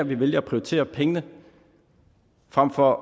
vi vælger at prioritere pengene frem for